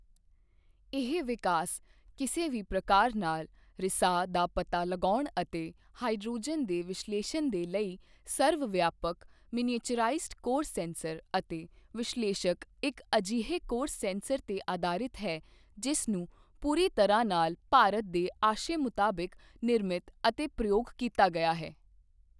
ਇਹ ਵਿਕਾਸ ਕਿਸੇ ਵੀ ਪ੍ਰਕਾਰ ਨਾਲ ਰਿਸਾਅ ਦਾ ਪਤਾ ਲਗਾਉਣ ਅਤੇ ਹਾਈਡ੍ਰੋਜਨ ਦੇ ਵਿਸ਼ਲੇਸ਼ਣ ਦੇ ਲਈ ਸਰਵਵਿਆਪਕ ਮਿਨੀਏਚੁਰਾਈਜ਼ਡ ਕੋਰ ਸੈਂਸਰ ਅਤੇ ਵਿਸ਼ਲੇਸ਼ਕ ਇੱਕ ਅਜਿਹੇ ਕੋਰ ਸੈਂਸਰ ਤੇ ਅਧਾਰਿਤ ਹੈ ਜਿਸ ਨੂੰ ਪੂਰੀ ਤਰ੍ਹਾਂ ਨਾਲ ਭਾਰਤ ਦੇ ਆਸ਼ੇ ਮੁਤਬਿਕ, ਨਿਰਮਿਤ ਅਤੇ ਪ੍ਰਯੋਗ ਕੀਤਾ ਗਿਆ ਹੈ।